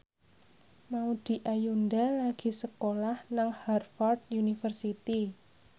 Maudy Ayunda lagi sekolah nang Harvard university